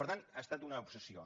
per tant ha estat una obsessió